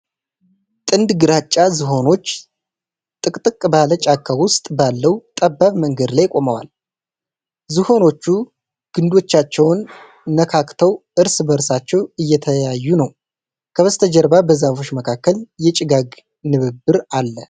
ጥንድ ግራጫ ዝሆኖች ጥቅጥቅ ባለው ጫካ ውስጥ ባለው ጠባብ መንገድ ላይ ቆመዋል። ዝሆኖቹ ግንዶቻቸውን ነካክተው እርስ በርሳቸው እየተያዩ ነው። ከበስተጀርባ በዛፎች መካከል የጭጋግ ንብርብር አለ።